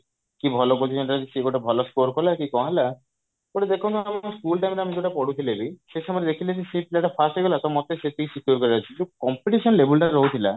କିନ୍ତୁ ଭଲ coaching centre ରେ ଯଦି ସଏ ଗୋଟେ ଭଲ ସ୍କୋର କଲା କି କି କଣ ହେଲା ଗୋଟେ ଦେଖନ୍ତୁ ଆମ school time ରେ ଆମେ ଯଉଟା ପଢୁଥିଲେ ବି ସେ ସମୟରେ ଦେଖିଲେ ବି ସେଇ ପିଲା ଟା first ହେଇଗଲା ତ ମୋତେ ସେତିକି secure କରିବାର ଅଛି ଯଉ competition level ଟା ରହୁଥିଲା